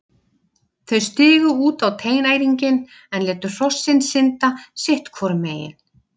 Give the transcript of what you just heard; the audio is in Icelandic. Þau stigu út á teinæringinn en létu hrossin synda sitt hvoru megin.